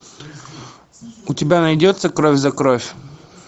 у тебя найдется кровь за кровь